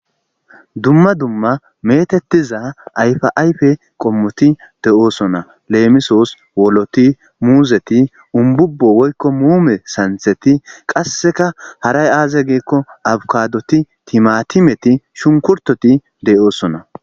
Duma duma meetetiza ayfa ayfe komoti de'osona leemisos:ooloti, muuzeti, umbubo woyko muume santheti kaseka haray aze giiko afkadoti timatimeti shunkurtoti de'osona.